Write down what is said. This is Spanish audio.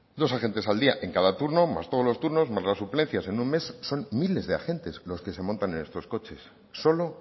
dos agentes al día en cada turno más todos los turnos más la suplencia en un mes son miles de agentes los que se montan en estos coches solo